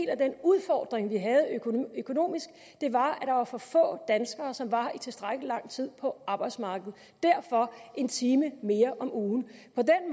af den udfordring vi havde økonomisk var at der var for få danskere som var i tilstrækkelig lang tid på arbejdsmarkedet derfor en time mere om ugen